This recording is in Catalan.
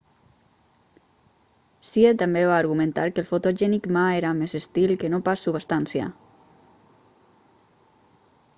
hsieh també va a argumentar que el fotogènic ma era més estil que no pas substància